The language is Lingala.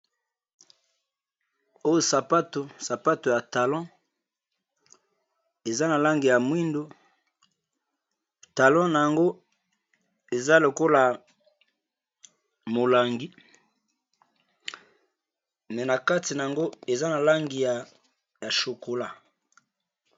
Oyo sapato sapato ya talon eza na langi ya mwindo talon na yango eza lokola ya molangi me na kati na yango eza na langi ya chokola.